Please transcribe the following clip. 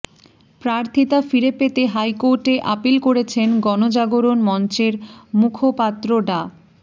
প্রার্থিতা ফিরে পেতে হাইকোর্টে আপিল করেছেন গণজাগরণ মঞ্চের মুখপাত্র ডা